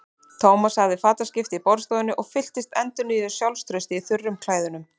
Thomas hafði fataskipti í borðstofunni og fylltist endurnýjuðu sjálfstrausti í þurrum klæðunum.